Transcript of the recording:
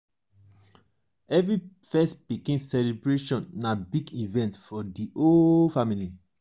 every first pikin celebration na big event for di whole family.